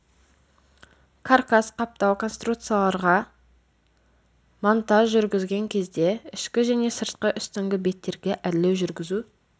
каркас-қаптау конструкцияларға монтаж жүргізген кезде ішкі және сыртқы үстіңгі беттерге әрлеу жүргізу